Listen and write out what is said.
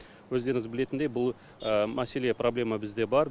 өздеріңіз білетіндей бұл мәселе проблема бізде бар